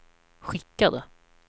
skickade